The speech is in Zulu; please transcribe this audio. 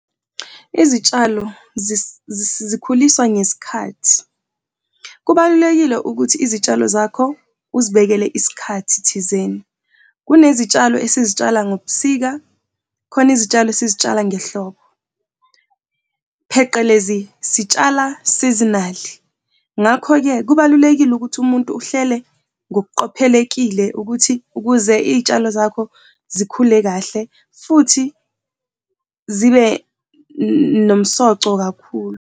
Izitshalo zikhuliswa ngesikhathi. Kubalulekile ukuthi izitshalo zakho ozibekele isikhathi thizeni. Kunezitshalo esizitshala ngobusika, kukhona izitshalo esizitshala ngehlobo, pheqelezi sitshala seasonal. Ngakho-ke, kubalulekile ukuthi umuntu uhlele ngokuqophelekile ukuthi ukuze iy'tshalo zakho zikhule kahle futhi zibe nomsoco kakhulu.